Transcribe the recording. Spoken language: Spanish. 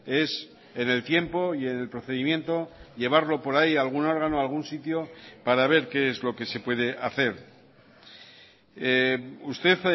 es en el tiempo y en el procedimiento llevarlo por ahí a algún órgano a algún sitio para ver qué es lo que se puede hacer usted